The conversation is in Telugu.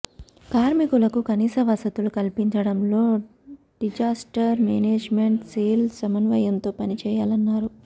కార్మికులకు కనీస వసతులు కల్పించడంలో డిజాస్టర్ మేనేజ్మెంట్ సెల్ సమన్వయంతో పని చేయాలన్నారు